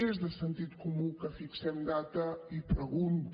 és de sentit comú que fixem data i pregunta